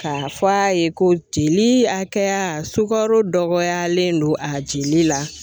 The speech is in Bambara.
K'a fɔ a ye ko jeli hakɛya sukaro dɔgɔyalen don a jeli la.